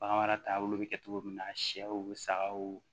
Bagan mara taabolo bɛ kɛ cogo min na sɛw bɛ sagaw